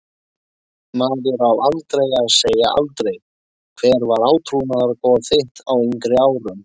Maður á aldrei að segja aldrei Hver var átrúnaðargoð þitt á yngri árum?